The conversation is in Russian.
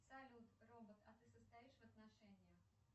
салют робот а ты состоишь в отношениях